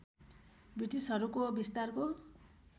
ब्रिटिसहरूको विस्तारको